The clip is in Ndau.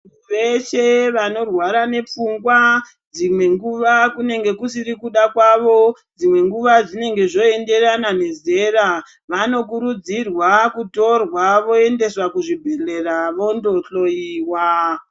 Veshe vanorwara nepfungwa dzimwenguva kunenge kusiri kuda kwavo dzimwe nguva zvinenge zvoenderana nezera vanokurudzirwa kutorwa voenda kuzviibhehleya vondohloyiwa.